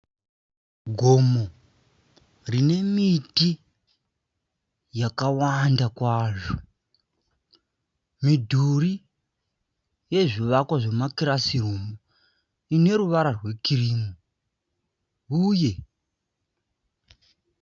Gomo rine miti yakawanda kwazvo. Midhuri yezvivakwa zvema kirasi rumhu ine ruvara rwekirimu uye.